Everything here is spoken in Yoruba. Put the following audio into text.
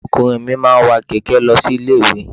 Ọmọkùnrin mi máa ń wa kẹ̀kẹ́ ẹ̀ lọ sí ilé-ìwé.